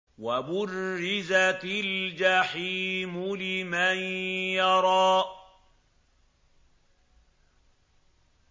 وَبُرِّزَتِ الْجَحِيمُ لِمَن يَرَىٰ